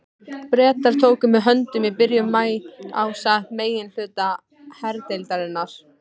Bretar tóku mig höndum í byrjun maí ásamt meginhluta herdeildarinnar.